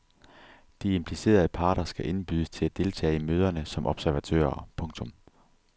De implicerede parter skal indbydes til at deltage i møderne som observatører. punktum